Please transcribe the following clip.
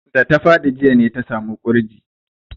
Da ta faɗi jiya ne ta samu ƙurji.